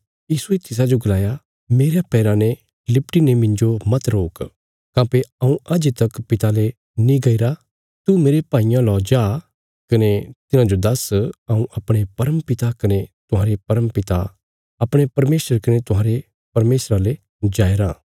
यीशुये तिसाजो गलाया मेरयां पैराँ ने लिपटी ने मिन्जो मत रोक काँह्भई हऊँ अजें तक पिता ले नीं गईरा तू मेरे भाईयां लौ जा कने तिन्हांजो दस हऊँ अपणे परम पिता कने तुहांरे परम पिता अपणे परमेशर कने तुहांरे परमेशरा ले जाया रां